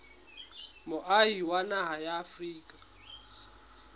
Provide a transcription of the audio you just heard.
moahi wa naha ya afrika